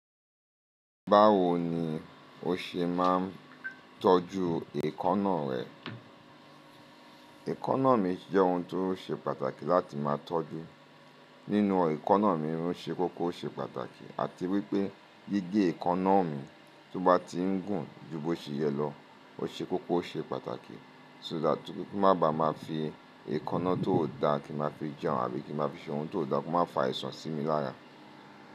Báwo ni o ṣe máa ń tọ́jú èékánná rẹ? Èékánná mi jẹ́ ohun tó ṣe pàtàkì láti máa tọ́jú. Nínú èékánná mi ó ṣe kókó o ṣe pàtàkì àti wípé gígé èékánná mi tó bá ti ń gùn ju bó ṣe yẹ lọ ó ṣe kókó o ṣe pàtàkì. So dáa kí má ba má fi èékánná tó dá kí má fi jẹun àbí kí má fi ṣe ohun tó dá kó má fa àìsàn sí mi láyà.